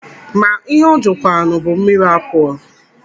Ma ihe ọ jụkwaranụ bụ mmiri apụlụ.